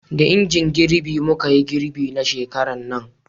da injin girbi muka yi girbi na shekaran nan